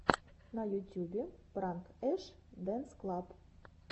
на ютюбе пранк эш дэнс клаб